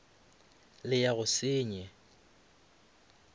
le ya go se senye